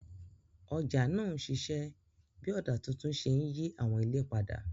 Ọjà náà ń ṣiṣẹ́ bí ọ̀dà tuntun ṣe ń yí àwọn ilé padà.